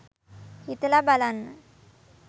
හිතලා බලන්න